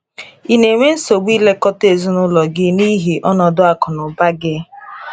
Ị na enwe nsogbu ilekọta ezinụlọ gị n’ihi ọnọdụ akụ na ụba gị?